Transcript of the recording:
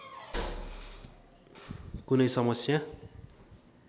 कुनै समस्या